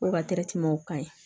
O ka ka ɲi